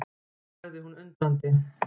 sagði hún undrandi.